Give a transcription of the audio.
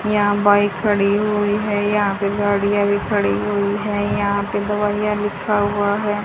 यहां बाइक खड़ी हुई है यहां पे गाड़ियां भी खड़ी हुई हैं यहां पे दवाइयां लिखा हुआ है।